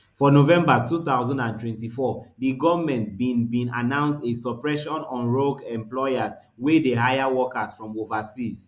for november two thousand and twenty-four di goment bin bin announce a suppression on rogue employers wey dey hire workers from overseas